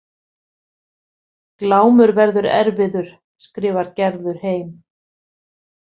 Glámur verður erfiður, skrifar Gerður heim.